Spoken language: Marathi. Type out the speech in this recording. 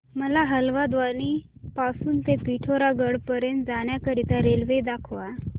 मला हलद्वानी पासून ते पिठोरागढ पर्यंत जाण्या करीता रेल्वे दाखवा